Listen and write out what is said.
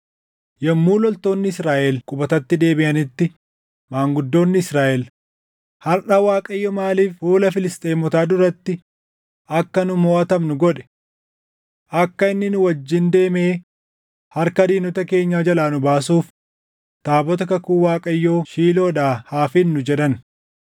Yommuu loltoonni Israaʼel qubatatti deebiʼanitti maanguddoonni Israaʼel, “Harʼa Waaqayyo maaliif fuula Filisxeemotaa duratti akka nu moʼatamnu godhe? Akka inni nu wajjin deemee harka diinota keenyaa jalaa nu baasuuf taabota kakuu Waaqayyoo Shiiloodhaa haa fidnu” jedhan.